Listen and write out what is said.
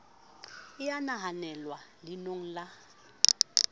e ya nahanelwa leanong la